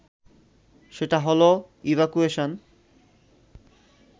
সেটা হলো ইভ্যাকুয়েশান